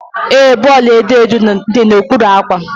Ee, bọọlụ edo edo dị n'okpuru akwa.